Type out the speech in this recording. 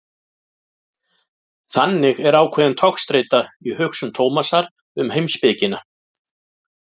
Þannig er ákveðin togstreita í hugsun Tómasar um heimspekina.